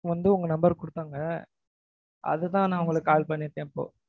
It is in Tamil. வந்து உங்க number குடுத்தாங்க. அது தான் நான் உங்களுக்கு call பண்ணிருக்கேன் இப்போ.